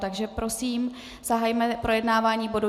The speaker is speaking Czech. Takže prosím, zahajme projednávání bodu